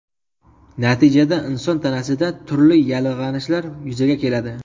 Natijada inson tanasida turli yallig‘lanishlar yuzaga keladi.